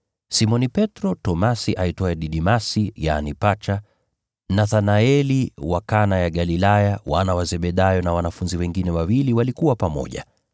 Simoni Petro, Tomaso aitwaye Didimasi, yaani Pacha, Nathanaeli wa Kana ya Galilaya, wana wa Zebedayo na wanafunzi wengine wawili walikuwa pamoja.